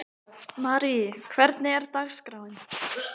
Marí, hvernig er dagskráin?